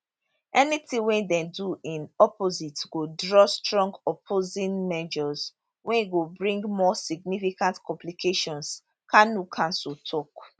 anytin wey dem do in opposite go draw strong opposing measures wey go bring more significant complications kanu counsel tok